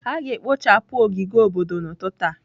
A ga-ekpochapụ ogige obodo n'ụtụtụ a.